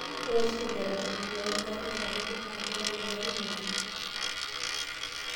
ore oshi ilderevani loo ingarrin sapukin naa kereu ingarrin oleng'